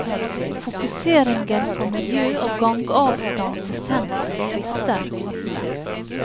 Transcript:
Fokuseringen på miljø og gangavstand til sentrum frister.